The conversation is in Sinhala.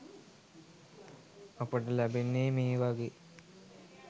අපට ලැබෙන්නේ මේ වගේ